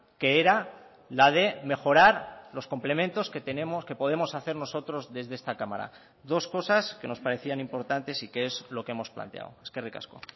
que era la de mejorar los complementos que tenemos qué podemos hacer nosotros desde esta cámara dos cosas que nos parecían importantes y que es lo que hemos planteado eskerrik asko